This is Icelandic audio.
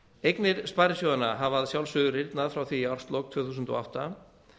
eignir sparisjóðanna hafa að sjálfsögðu rýrnað frá því í árslok tvö þúsund og átta